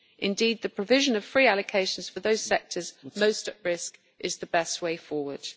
Indeed, the provision of free allocations for those sectors most at risk is the best way forward.